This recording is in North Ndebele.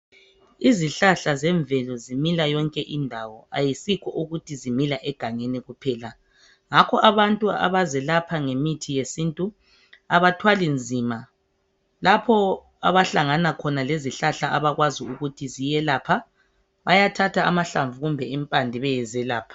Izihlahla zemvelo zimila yonke indawo ayisikho ukuthi zimila egangeni kuphela ngakho abantu abazelapha ngemithi yesintu abathwali nzima lapho abahlangana khona lezihlahla abakwazi ukuthi ziyelapha bayathatha amahlamvu lempande bayezelapha.